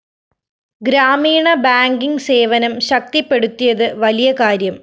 ഗ്രാമീണ ബാങ്കിങ്‌ സേവനം ശക്തിപ്പെടുത്തിയത് വലിയ കാര്യം